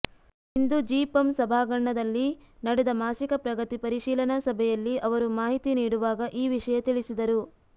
ಇಂದು ಜಿಪಂ ಸಭಾಂಗಣದಲ್ಲಿ ನಡೆದ ಮಾಸಿಕ ಪ್ರಗತಿ ಪರಿಶೀಲನಾ ಸಭೆಯಲ್ಲಿ ಅವರು ಮಾಹಿತಿ ನೀಡುವಾಗ ಈ ವಿಷಯ ತಿಳಿಸಿದರು